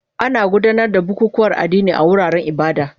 Ana gudanar da bukukuwan addini a wuraren ibada